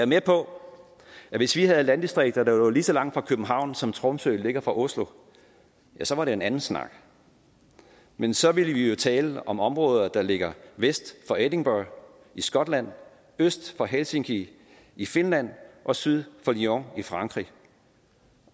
med på at hvis vi havde landdistrikter der lå lige så langt fra københavn som tromsø ligger fra oslo så var det en anden snak men så ville vi jo tale om områder der ligger vest for edinburgh i skotland øst for helsinki i finland og syd for lyon i frankrig